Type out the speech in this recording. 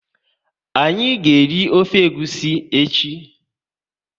Anyị ga eri ofe egwusi echi